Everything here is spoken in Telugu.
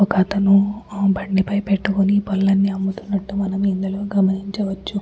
ఒక్కత్తను బండిపై పెట్టుకొని పళ్ళని అమ్ముతున్నట్లు మనం ఇందులో గమనించవచ్చు.